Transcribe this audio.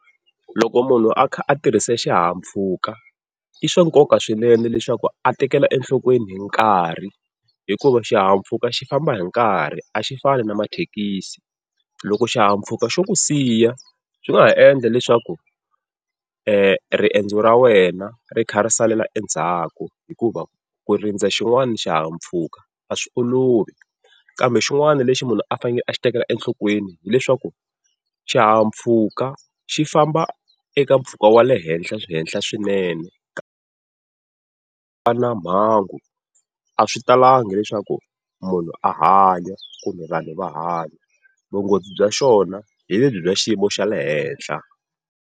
Loko munhu a kha a tirhisa xihahampfhuka i swa nkoka swinene leswaku a tekela enhlokweni hi nkarhi, hikuva xihahampfhuka xi famba hi nkarhi a xi fani na mathekisi. Loko xihahampfhuka xo ku siya swi nga ha endla leswaku eriendzo ra wena ri kha ri salela endzhaku, hikuva ku rindza xin'wana xihahampfhuka a swi olovi. Kambe xin'wana lexi munhu a fanele a xi tekela enhlokweni hileswaku, xihahampfhuka xi famba eka mpfhuka wa le henhla henhla swinene ku va na mhangu a swi talangi leswaku munhu a hanya, kumbe vanhu va hanya. Vunghozi bya xona hi lebyi bya xiyimo xa le henhla.